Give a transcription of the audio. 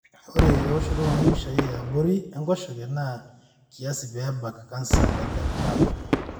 ore eoshoto embipisha eabori enkoshoke na kiasi pe baak canser e gallbladder.